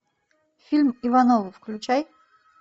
фильм ивановы включай